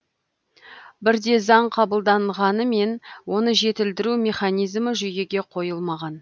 бізде заң қабылданғанымен оны жетілдіру механизмі жүйеге қойылмаған